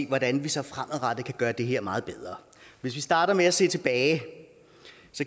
hvordan vi så fremadrettet kan gøre det her meget bedre hvis vi starter med at se tilbage